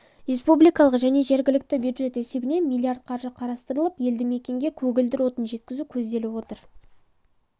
республикалық және жергілікті бюджет есебінен млрд қаржы қарастырылып елді мекенге көгілдір отын жекізу көзделіп отыр